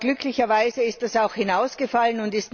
Glücklicherweise ist das auch herausgefallen.